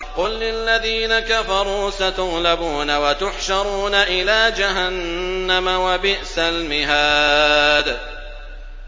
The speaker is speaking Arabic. قُل لِّلَّذِينَ كَفَرُوا سَتُغْلَبُونَ وَتُحْشَرُونَ إِلَىٰ جَهَنَّمَ ۚ وَبِئْسَ الْمِهَادُ